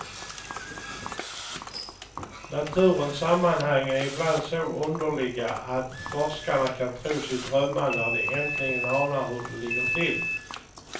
Naturens sammanhang är ibland så underliga att forskarna kan tro sig drömma när de äntligen anar hur det ligger till.